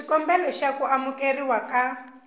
xikombelo xa ku amukeriwa ka